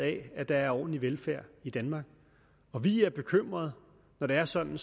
af at der er ordentlig velfærd i danmark og vi er bekymret når det er sådan